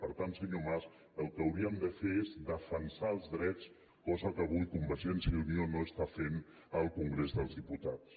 per tant senyor mas el que hauríem de fer és defensar els drets cosa que avui convergència i unió no està fent al congrés dels diputats